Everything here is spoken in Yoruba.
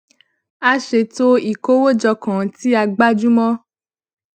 a ṣètò ìkówójọ kan tí a gbájú mó